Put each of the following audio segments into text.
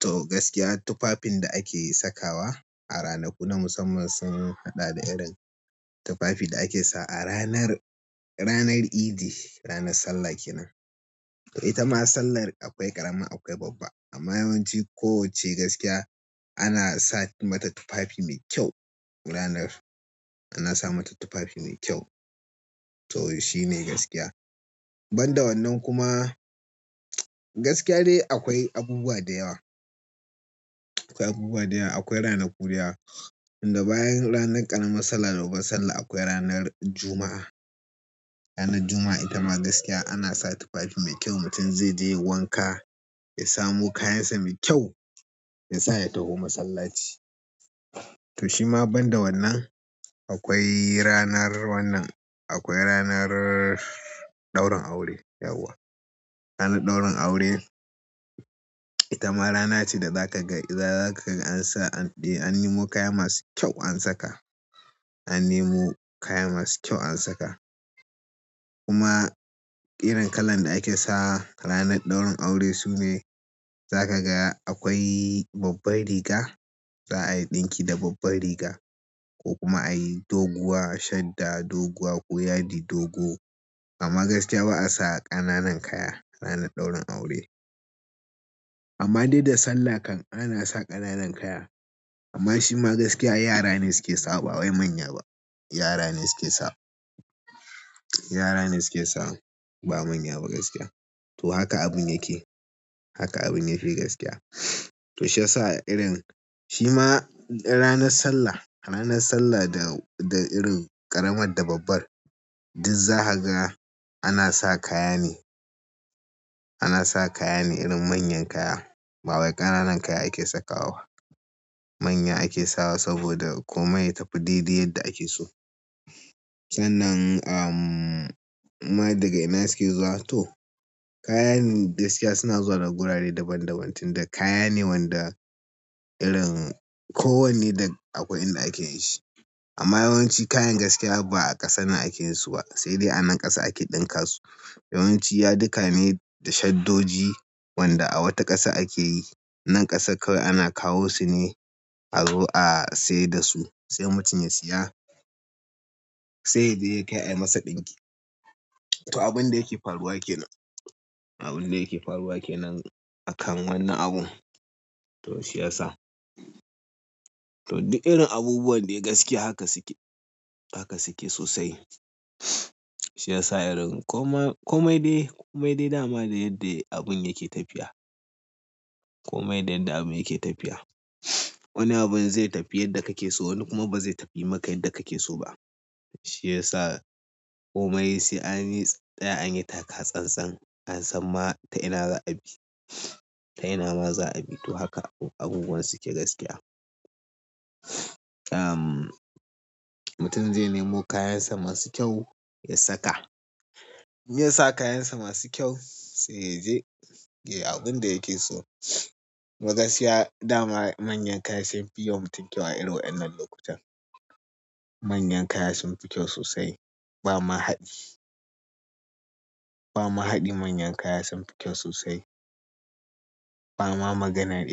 To gaskiya tufafin da ake sakawa a ranaku na musamman sun haɗa da irin tufafi da ake sawa a ranar, ranar Idi, ranar Sallah kenan. Ita ma sallar akwai ƙarama akwai babba. Amma yawanci ko wacce gaskiya, ana sa mata tufafi mai kyau ranar, ana sa mata tufafi mai kyau. To shi ne gaskiya. Ban da wannan kuma gaskiya dai akwai abubuwa da yawa, akwai abubuwa da yawa. Akwai ranaku da yawa. Inda bayan ranar ƙaramar sallah da babbar sallah akwai ranar Juma'a. Ranar Juma'a ita ma gaskiya ana sa tufafi mai kyau. Mutum zai je yayi wanka, ya samu kayansa mai kyau, ya sa ya tafi masallaci. To shi ma ban da wannan akwai ranar wannan, akwai ranar ɗaurin aure. Yauwa. Ranar ɗaurin aure ita ma rana ce da zaka ga idan za ka ga an sa, an nemo kaya masu kyau an saka. An nemo kaya masu kyau an saka. Kuma irin kalar da ake sawa ranar ɗaurin aure sune za ka ga akwai babbar riga, za a yi ɗinki da babbar riga ko kuma a yi doguwa, shadda doguwa ko yadi dogo. Amma gaskiya ba'a sa ƙananan kaya ranar ɗaurin aure. Amma dai da Sallah kan ana sa ƙananan kaya. Amma shi ma gaskiya yara ne suke sawa ba wai manya ba. Yara ne suke sawa. Yara ne suke sawa ba manya ba gaskiya. To haka abun yake. Haka abun yake gaskiya. To shi yasa irin shi ma ranar Sallah, ranar Sallah da, da irin ƙaramar da babbar duk za ka ga ana sa kaya ne, ana sa kaya ne irin manyan kaya ba wai ƙananan kaya ake sakawa ba. Manya ake sawa saboda komai ya tafi dai dai yadda ake so. Sannan, umm, inma daga ina suke zuwa to kayane gaskiya suna zuwa daga gurare daban daban tunda kaya ne wanda irin ko wanne da akwai inda ake yin shi. Amma yawanci kayan gaskiya ba a ƙasa akeyin su ba, sai dai a wani ƙasa ake ɗinka su. Yawanci yadika ne da shaddoji wanda a wata ƙasa ake yi. Nan ƙasar kawai ana kawo su ne azo a saida su sai mutum ya siya sai yaje ya kai a yi masa ɗinki. To abun da yake faruwa kenan. Abun da yake faruwa kenan akan wannan abun. To shi ya sa. To duk irin abubuwan dai gaskiya haka suke, haka suke sosai. Shi yasa irin komai, komai dai, komai dai dama da yadda abun yake tafiya. Komai da yadda abun yake tafiya. Wani abun zai tafi yadda kake so wani kuma ba zai tafi maka yadda kake so ba. Shi ya sa komai sai an yi, tsqya anyi taka tsantsan an san ma ta ina za a bi. Ta ina ma za a bi. To haka abubuwan suke gaskiya. Umm, mutum zai nemo kayansa masu kyau ya saka. Idan yasa kayansa masu kyau, sai yaje yayi abinda yake so gaskiya dama manyan kaya sun fi yiwa mutum kyau a irin wannan lokutan. Manyan kaya sun fi kyau sosai. Bama haɗi ba ma haɗi manyan kaya sun fi kyau sosai. Bama maganar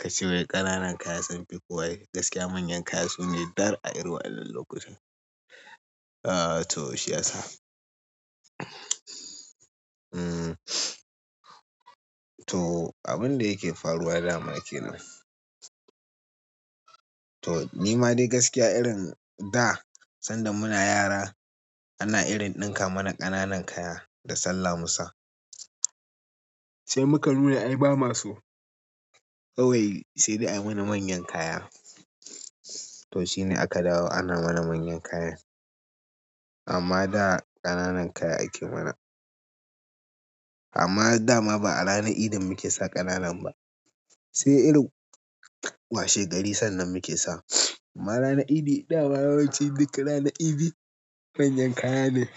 kace wai ƙananan kaya sunfi ko waye, gaskiya manyan kaya sune dar a irin wannan lokutan. Ah to shi ya sa. Umm, to abun da yake faruwa dama kenan. To nima dai gaskiya irin da sanda muna yara ana irin ɗinka mana ƙananan kaya da salla musa sai muka nuna ai ba ma so. Kawai sai dai ayi mana manyan kaya. To shi ne aka dawo ana mana manyan kaya. Amma da ƙananan kaya ake mana. Amma dama ba a ranar Idi muke sa ƙananan ba. Sai irin washe gari sannan muke sawa. Amma ranar Idi dama yawanci duk ranar Idi manyan kaya ne.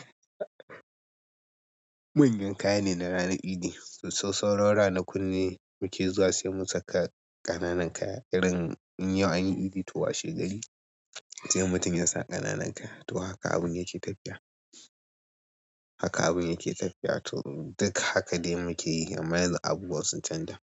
Manyan kaya ne na ranar Idi. Sau, sauran ranakun ne muke zuwa sai mu saka ƙananan kaya irin in yau anyi Idi to washe gari sai mutum ya sa ƙananan kaya. To haka abun yake tafiya. Haka abun yake tafiya. To duk haka dai muke yi amma yanzu abubuwa sun canja.